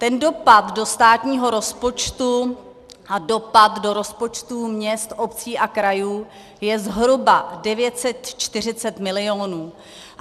Ten dopad do státního rozpočtu a dopad do rozpočtů měst, obcí a krajů je zhruba 940 milionů.